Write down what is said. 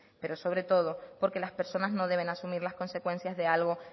pero sobre todo porque las personas no deben asumir las consecuencias de algo